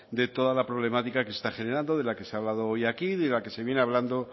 de toda la problemática que se está generando de la que se ha hablado hoy aquí y de la que se viene hablando